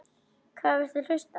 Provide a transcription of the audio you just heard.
Hvað viltu hlusta á?